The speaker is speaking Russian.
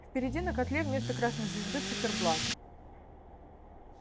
впереди на котле вместо красной звезды циферблат